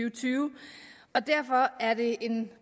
og tyve og derfor er det en